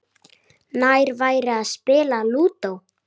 Nær væri að spila Lúdó.